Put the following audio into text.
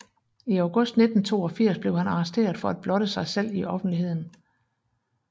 I august 1982 blev han arresteret for at blotte sig selv i offentligheden